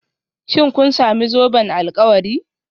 Shin kun sami zoben alkawari?